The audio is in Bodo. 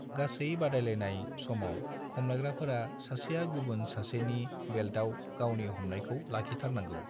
गासै बादायलायनाय समाव खमलायग्राफोरा सासेया गुबुन सासेनि बेल्टाव गावनि हमनायखौ लाखिथारनांगौ।